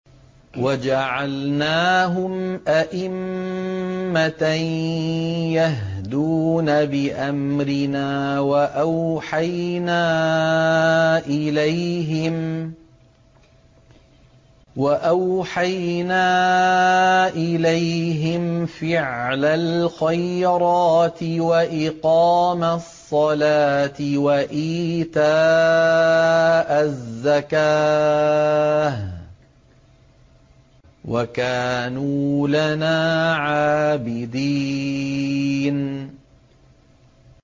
وَجَعَلْنَاهُمْ أَئِمَّةً يَهْدُونَ بِأَمْرِنَا وَأَوْحَيْنَا إِلَيْهِمْ فِعْلَ الْخَيْرَاتِ وَإِقَامَ الصَّلَاةِ وَإِيتَاءَ الزَّكَاةِ ۖ وَكَانُوا لَنَا عَابِدِينَ